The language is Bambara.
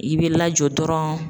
I bɛ lajɔ dɔrɔn